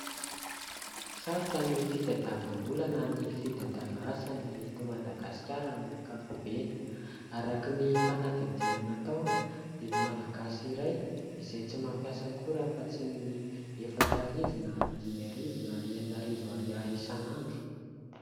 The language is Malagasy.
Sarotra ny fitadiavam-bola na ny fitadiavana asa na eto Madagasikara amin'ny ankapobeny. Araka ny fanadihadiana natao dia ny Malagasy iray izay tsy mampiasa akory afa-tsy ny efatra arivo na dimy arivo na enina arivo ariary isan'andro.